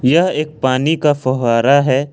यह एक पानी का फवारा है।